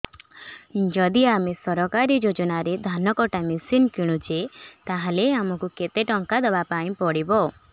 ଯଦି ଆମେ ସରକାରୀ ଯୋଜନାରେ ଧାନ କଟା ମେସିନ୍ କିଣୁଛେ ତାହାଲେ ଆମକୁ କେତେ ଟଙ୍କା ଦବାପାଇଁ ପଡିବ